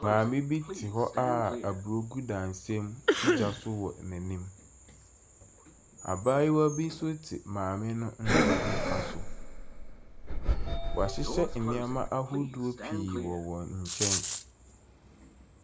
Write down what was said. Maame te hɔ a aburo gu dadesɛn mu si gya so wɔ n’anim. Abaayewa bi nso te maame no ne nsa nifa so. Wɔahyehyɛ nneɛma ahodoɔ pii wɔ wɔn nkyɛn.